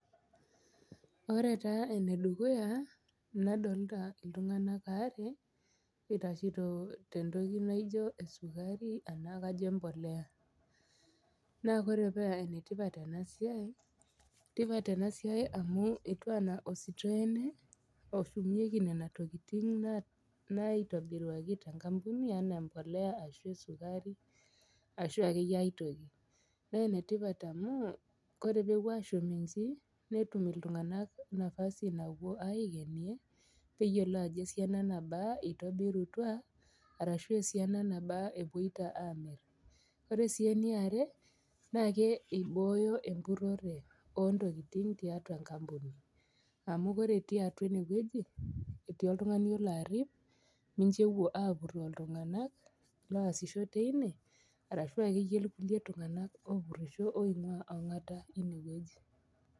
Ore taa enedukuya nadolita iltung'anak are itashito tentoki naijo esukari anaa kajo empolea naa ore paa enetipat ena siai, enetipat ena siai amu etiu enaa ositoo ene oshumieki nena tokitin naitobuaki tenkampuni anaa embolea ashu esukari ashu akeyie aitoki, naa enetipat amu kore pepuo ashum inji netum iltung'anak nafasi napuo aikienie peyiolou ajo esiana nabaa itobirutua arashu esiana nabaa epoito amirr. Ore si eneiare naa imbooyo empurore oontokitin tiatua enkampuni, amu ore itii atua enewueji, etii oltung'ani olo arip, mincho epuo apurroo iltung'anak loasisho teine ashu akeyie kulie tung'anak opurrisho oing'waa ong'ata ine wueji.